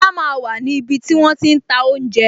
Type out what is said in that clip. Lola máa wà ní ibi tí wón ti ń ta oúnjẹ